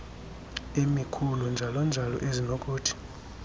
emikhulu njalonjalo ezinokuthi